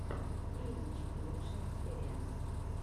ильич лучшая серия